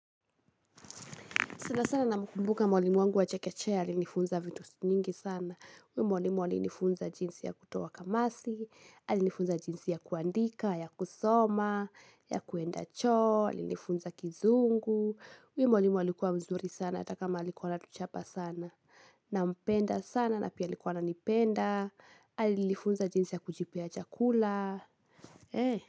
Sana sana namkumbuka mwalimu wangu wa chekechea alinifunza vitu nyingi sana. Huyo mwalimu alinifunza jinsi ya kutoa kamasi, alinifunza jinsi ya kuandika, ya kusoma, ya kuenda choo, alinifunza kizungu. Huyo mwalimu alikuwa mzuri sana hata kama alikuwa anatuchapa sana. Nampenda sana, na pia alikuwa ananipenda, alinifunza jinsi ya kujipea chakula.